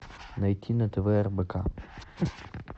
найти на тв рбк